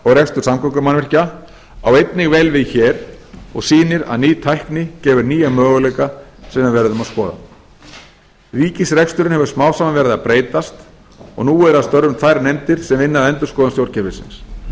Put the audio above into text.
rekstur samgöngumannvirkja á einnig vel við hér og sýnir að ný tækni gefur nýja möguleika sem við verðum að skoða ríkisreksturinn hefur smám saman verið að breytast og nú eru að störfum tvær nefndir sem vinna að endurskoðun stjórnkerfisins